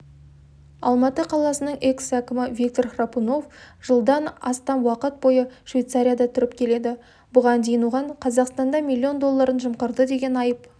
алматы қаласының экс-әкімі виктор храпунов жылдан астам уақыт бойы швейцарияда тұрып келеді бұған дейін оған қазақстанда миллион долларын жымқырды деген айып